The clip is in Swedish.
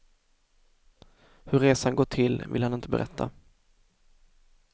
Hur resan gått till ville han inte berätta.